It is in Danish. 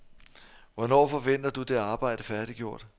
Hvornår forventer du det arbejde færdiggjort?